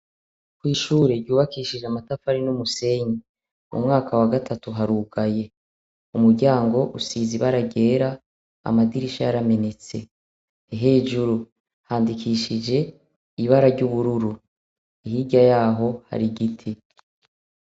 Kw'ishure ryubakishije amatafari n'umusenyi. Umwaka wa gatatu harugaye. Umuryango usize ibara ryera. Amadirisha yaramenetse. Hejuru handikishije ibara ry'ubururu. Hirya yaho hari igiti.